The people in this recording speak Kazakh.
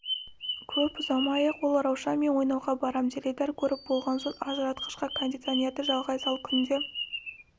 көп ұзамай-ақ ол раушан мен ойнауға барам теледидар көріп болған соң ажыратқышқа кондиционерді жалғай сал күнде